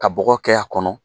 Ka bɔ kɛ a kɔnɔ.